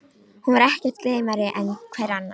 Hún var ekkert gleymnari en hver annar.